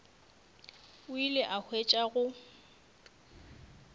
o ile a hwetša go